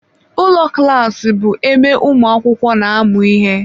Ụlọ klas bụ ebe ụmụ akwụkwọ na-amụ ihe.